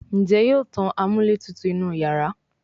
Njé yóò tán amúlétutù inú iyàrá?